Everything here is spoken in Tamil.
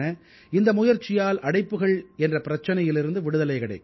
இந்த முயற்சியால் அடைப்புக்கள் என்ற பிரச்சனையிலிருந்து விடுதலை கிடைக்கும்